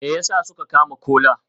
Me yasa suka kama Kola?